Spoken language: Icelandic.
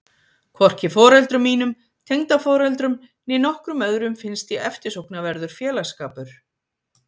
Hvorki foreldrum mínum, tengdaforeldrum, né nokkrum öðrum finnst ég eftirsóknarverður félagsskapur.